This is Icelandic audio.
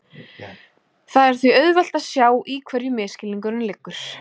Það er því auðvelt að sjá í hverju misskilningurinn liggur.